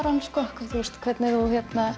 hann hvernig þú